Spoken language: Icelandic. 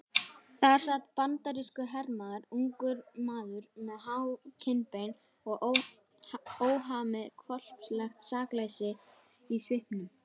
Þar sat bandarískur hermaður, ungur maður með há kinnbein og óhamið hvolpslegt sakleysi í svipnum.